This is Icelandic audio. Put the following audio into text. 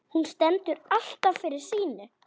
Hún stendur alltaf fyrir sínu.